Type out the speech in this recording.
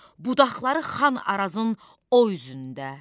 Budaqları Xan Arazın o üzündə.